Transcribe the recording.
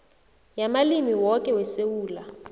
yamalimi woke wesewula